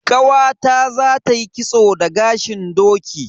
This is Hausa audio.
Ƙawata zata yi kitso da gashin doki.